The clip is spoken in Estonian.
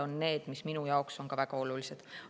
Need teemad on minu jaoks samuti väga olulised.